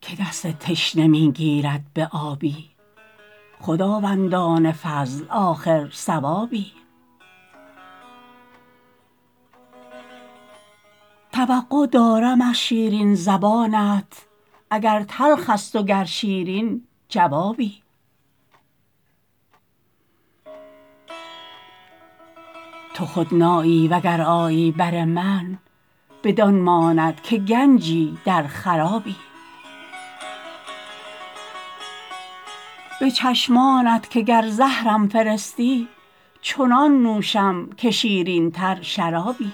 که دست تشنه می گیرد به آبی خداوندان فضل آخر ثوابی توقع دارم از شیرین زبانت اگر تلخ است و گر شیرین جوابی تو خود نایی و گر آیی بر من بدان ماند که گنجی در خرابی به چشمانت که گر زهرم فرستی چنان نوشم که شیرین تر شرابی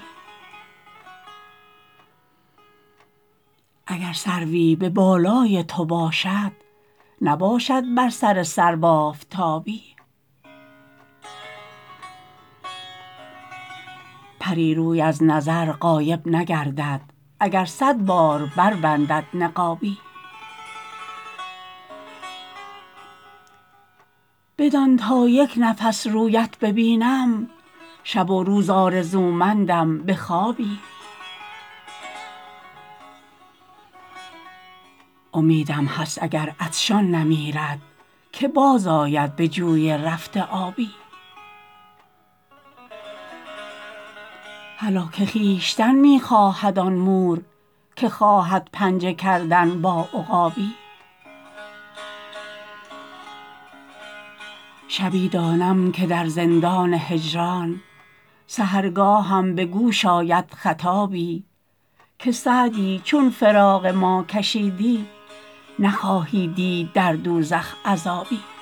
اگر سروی به بالای تو باشد نباشد بر سر سرو آفتابی پری روی از نظر غایب نگردد اگر صد بار بربندد نقابی بدان تا یک نفس رویت ببینم شب و روز آرزومندم به خوابی امیدم هست اگر عطشان نمیرد که باز آید به جوی رفته آبی هلاک خویشتن می خواهد آن مور که خواهد پنجه کردن با عقابی شبی دانم که در زندان هجران سحرگاهم به گوش آید خطابی که سعدی چون فراق ما کشیدی نخواهی دید در دوزخ عذابی